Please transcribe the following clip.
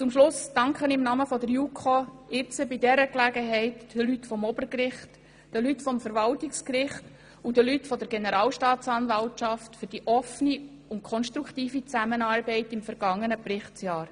Abschliessend danke ich im Namen der JuKo bei dieser Gelegenheit den Mitarbeitenden des Obergerichts, des Verwaltungsgerichts und der Generalstaatsanwaltschaft für die offene und konstruktive Zusammenarbeit im vergangenen Berichtsjahr.